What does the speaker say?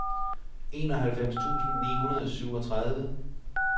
enoghalvfems tusind ni hundrede og syvogtredive